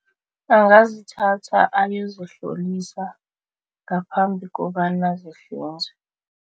Angazithatha ayozihlolisa ngaphambi kobana zihlinzwe.